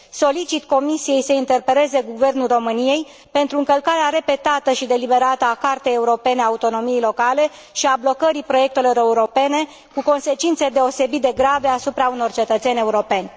Solicit Comisiei să interpeleze Guvernul României pentru încălcarea repetată și deliberată a Cartei europene a autonomiei locale și blocarea proiectelor europene, cu consecințe deosebit de grave asupra unor cetățeni europeni.